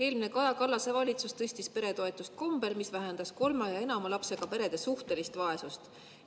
Eelmine Kaja Kallase valitsus tõstis peretoetusi kombel, mis vähendas kolme ja enama lapsega perede suhtelist vaesust.